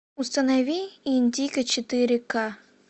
установи индиго четыре ка